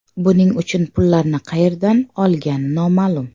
Buning uchun pullarni qayerdan olgani noma’lum.